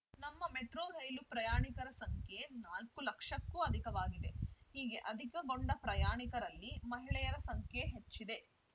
ನಮ್ಮ ಮೆಟ್ರೋ ರೈಲು ಪ್ರಯಾಣಿಕರ ಸಂಖ್ಯೆ ನಾಲ್ಕು ಲಕ್ಷಕ್ಕೂ ಅಧಿಕವಾಗಿದೆ ಹೀಗೆ ಅಧಿಕಗೊಂಡ ಪ್ರಯಾಣಿಕರಲ್ಲಿ ಮಹಿಳೆಯರ ಸಂಖ್ಯೆ ಹೆಚ್ಚಿದೆ